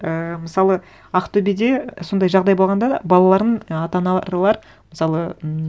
ііі мысалы ақтөбеде сондай жағдай болғанда балаларын і ата аналар мысалы м